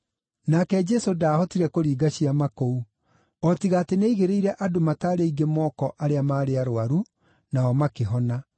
Nake Jesũ ndaahotire kũringa ciama kũu, o tiga atĩ nĩaigĩrĩire andũ mataarĩ aingĩ moko arĩa maarĩ arũaru nao makĩhona.